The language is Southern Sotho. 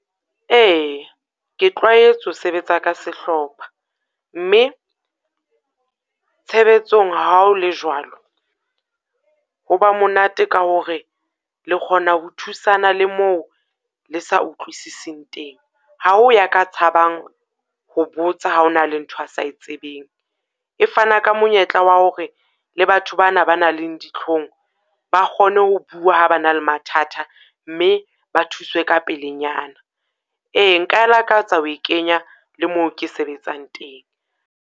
Ee, ke tlwaetse ho sebetsa ka sehlopha, mme tshebetsong ha o le jwalo, ho ba monate ka hore le kgona ho thusana le moo le sa utlwisising teng. Ha o ya ka tshabang ho botsa ha ho na le ntho a sa tsebeng. E fana ka monyetla wa hore le batho ba na ba nang le ditlhong, ba kgone ho bua ha ba na le mathata mme ba thuswe ka pelenyana. Ee, nka lakatsa ho kenya le moo ke sebetsang teng.